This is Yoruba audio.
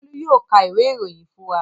Bólú yóò ka ìwé-ìròyìn fún wa.